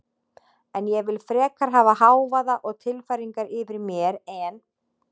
En ég vil frekar hafa hávaða og tilfæringar yfir mér en